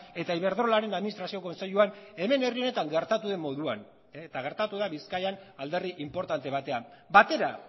eta iberdrolaren administrazio kontseiluan hemen herri honetan gertatu den moduan eta gertatu da bizkaian alderdi inportante batean batera